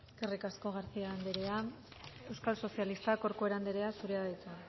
eskerrik asko garcía anderea euskal sozialistak corcuera anderea zurea da hitza